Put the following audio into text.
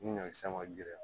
Ni ɲɔkisɛ ma girin